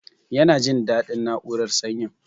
Yana jin dadin na'urar sanyin